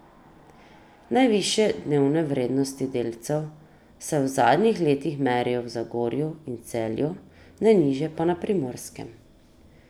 Najvišje dnevne vrednosti delcev se v zadnjih letih merijo v Zagorju in Celju, najnižje pa na Primorskem.